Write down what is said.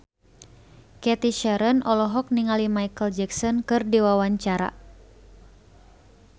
Cathy Sharon olohok ningali Micheal Jackson keur diwawancara